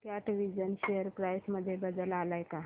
कॅटविजन share price मध्ये बदल आलाय का